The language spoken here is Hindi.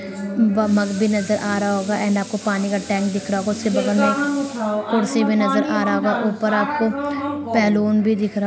वह मग भी नजर आ रहा होगा एंड आपको पानी का टैंक दिख रहा होगा उसके बगल में कुर्सी भी नजर आ रहा होगा ऊपर आपको बैलून भी दिख रहा --